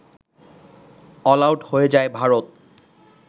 all out হয়ে যায় ভারত